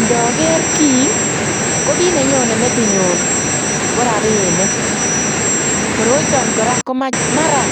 Ndaker kii ko kiit ne nyonei metinyuun ko rapinik, koroitaan kora mara